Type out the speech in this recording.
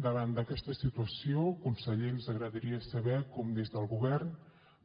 davant d’aquesta situació conseller ens agradaria saber com des del govern